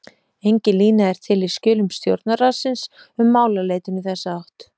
Engin lína er til í skjölum stjórnarráðsins um málaleitun í þessa átt.